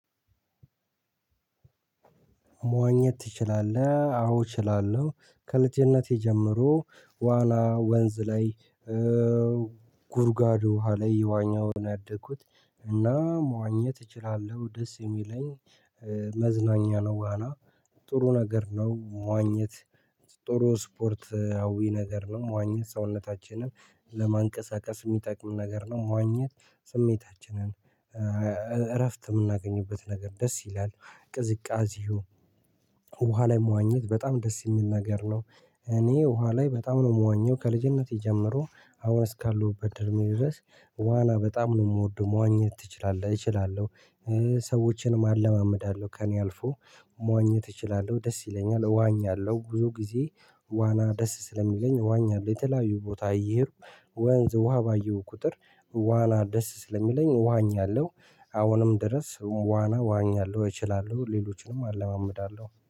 መዋኘት ትችላለህ? አዎ እችላለሁ ከልጅነቴ ጀምሮ ዋና ወንዝ ላይ ጉድጓድ ውሃ ላይ እየዋኝው ነው ያደኩት እና መዋኘት እችላለሁ ደስ የሚለኝ መዝናኛ ነው። ዋና ጥሩ ነገር ነው። መዋኘት ጥሩ ስፖርታዊ ነገር ነው። መዋኘት ሰውነታችንን ለማንቀሳቀስ የሚጠቅም ነገር ነው። መዋኘት ስሜታችንን እረፍት የምናገኝበት ነገር ደስ ይላል። ቅዝቃዜው ውሃ ላይ መዋኘት በጣም ደስ የሚል ነገር ነው። እኔ ውሃ ላይ በጣም ነው የምዋኘው ከልጅነቴ ጀምሮ አሁን እስካለሁበት እድሜ ድረስ ዋና በጣም ነው የምወደው መዋኘት ትችላለህ እችላለሁ። ሰዎችንም አለማመዳለሁ ከእኔ አልፎ መዋኘት እችላለሁ ደስ ይለኛል። እዋኛለሁ ብዙ ጊዜ ዋና ደስ ስለሚለኝ እዋኛለሁ። ጅ የተለያዩ ቦታ እየሄድኩ ወንዝ ውሃ ባየሁ ቁጥር ዋና ደስ ስለሚለኝ ዋእኛለሁ። አሁንም ድረስ ዋና እዋኛለሁ እችላለሁ ሌሎችንም አለማመዳለሁ